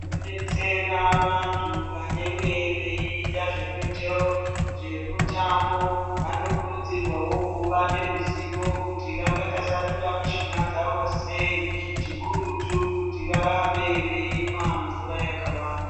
Tinodetsera vantu vanenge veiita zvemitambo vanokurudzirwawo kuva neruzivo kuti vangatasanura mishuna dzavo sei chikurutu kuti varambe veimwa mvura yakawanda.